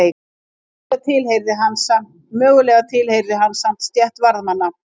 Mögulega tilheyrði hann samt stétt varðmanna.